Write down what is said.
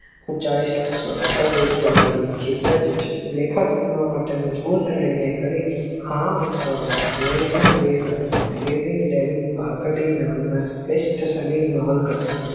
પચાવી સક્સો આ તમારી જિદજ છે લેકક બનવા માટે મજબૂત નિયંત્ર કરી આ વર્ષ પહેલા અમેરિકા ના વ તેના meggin market માં સ્વેઠ સલીમ નવલ કથા હતી